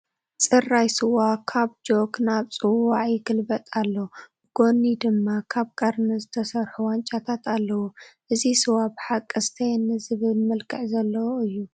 ፅራይ ስዋ ካብ ጆክ ናብ ፅዋዕ ይግልበጥ ኣሎ፡፡ ብጐኒ ድማ ካብ ቀርኒ ዝተሰርሑ ዋንጫታት ኣለዉ፡፡ እዚ ስዋ ብሓቂ ስተየኒ ዝብል መልክዕ ዘለዎ እዩ፡፡